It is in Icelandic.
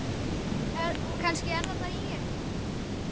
Kannski er það bara ég?